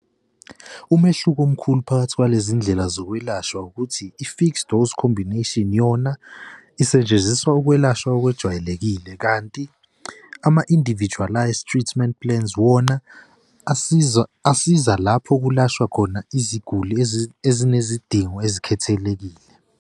Umehluko omkhulu phakathi kwalezi ndlela zokwelashwa ukuthi i-fixed dose combination yona isetshenziswa ukwelashwa okwejwayelekile, kanti ama-individualized treatment plans wona asiza, asiza lapho kulashwa khona iziguli ezinezidingo ezikhethelekile.